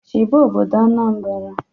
Chiba obodo Anambra!